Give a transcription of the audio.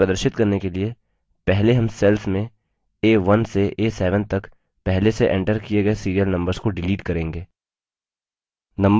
इसे प्रदर्शित करने के लिए पहले हम cells में a1 से a7 तक पहले से एंटर किए गए serial numbers को डिलीट करेंगे